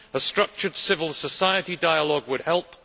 A structured civil society dialogue would help